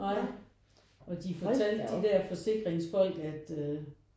Ej og de fortalte de der forsikringsfolk at øh